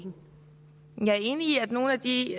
de